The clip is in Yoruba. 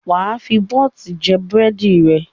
Wà á fi bọ́t jẹ búrẹ́dì rẹ!